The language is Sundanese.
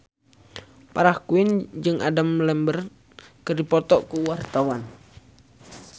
Farah Quinn jeung Adam Lambert keur dipoto ku wartawan